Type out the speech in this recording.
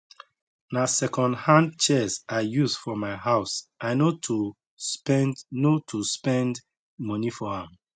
nah second hand chairs i use for my house i no to spend no to spend money for am